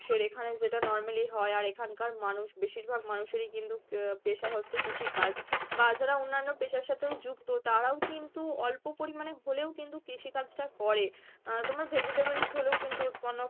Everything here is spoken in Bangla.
এখানে যেটা normally হয় আর এখানকার মানুষ বেশিরভাগ মানুষেরই কিন্তু আহ পেশা হচ্ছে কৃষিকাজ বা যারা অন্যান্য পেশার সাথেও যুক্ত তারাও কিন্তু অল্প পরিমানে হলেও কিন্তু কৃষিকাজ টা করে, আহ তোমার vegetables হলেও কিন্তু উৎপন্ন